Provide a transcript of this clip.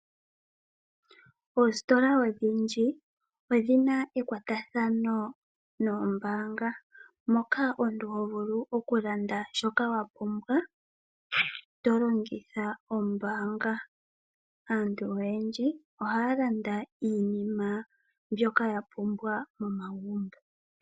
Oositola odhindji odhina ekwatathano noombaanga. Moka omuntu ho vulu okulanda shoka wa pumbwa, to longitha ombaanga. Aantu oyendji ohaya landa iinima mbyoka ya pumbwa momagumbo.